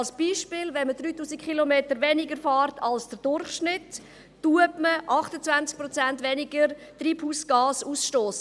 Ein Beispiel: Wenn man 3000 Kilometer weniger fährt als der Durchschnitt, stösst man 28 Prozent weniger Treibhausgas aus.